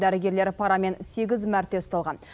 дәрігерлер парамен сегіз мәрте ұсталған